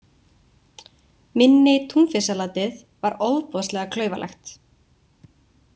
Minni Túnfisksalatið var ofboðslega klaufalegt.